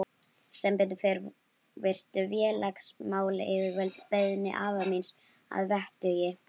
Sem betur fór virtu félagsmálayfirvöld beiðni afa míns að vettugi.